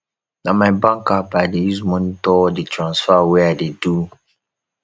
na my bank app i dey use monitor all di transfer wey i dey do